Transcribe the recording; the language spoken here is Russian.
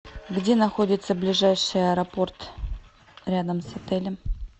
где находится ближайший аэропорт рядом с отелем